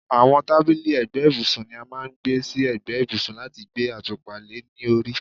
àwọn tábìlì ẹ̀gbẹ́ ibùsùn ni a máà ń gbé sí ẹ̀gbẹ́ ibùsùn láti gbé àtùpà le ní orí